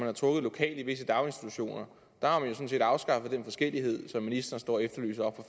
har truffet lokalt i visse daginstitutioner har man sådan set afskaffet den forskellighed som ministeren står og efterlyser oppe